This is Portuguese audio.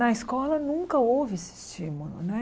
Na escola nunca houve esse estímulo né.